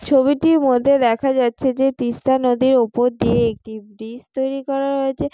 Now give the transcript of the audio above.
ছবিটির মধ্যে দেখা যাচ্ছে যে তিস্তা নদীর উপর দিয়ে একটি ব্রিজ তৈরী করা হয়েছে।